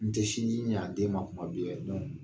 N tɛ sinji ɲa den ma kuma bi